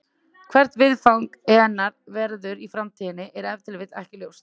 Hvert viðfang hennar verður í framtíðinni er ef til vill ekki ljóst.